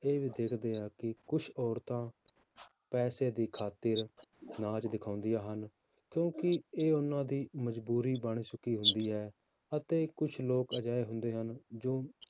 ਇਹ ਵੀ ਦੇਖਦੇ ਹਾਂ ਕਿ ਕੁਛ ਔਰਤਾਂ ਪੈਸੇ ਦੀ ਖ਼ਾਤਿਰ ਨਾਚ ਦਿਖਾਉਂਦੀਆਂ ਹਨ, ਕਿਉਂਕਿ ਇਹ ਉਹਨਾਂ ਦੀ ਮਜ਼ਬੂਰੀ ਬਣ ਚੁੱਕੀ ਹੁੰਦੀ ਹੈ, ਅਤੇ ਕੁਛ ਲੋਕ ਅਜਿਹੇ ਹੁੰਦੇ ਹਨ ਜੋ